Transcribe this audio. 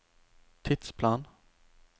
tidsplan